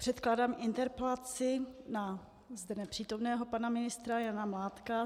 Předkládám interpelaci na zde nepřítomného pana ministra Jana Mládka.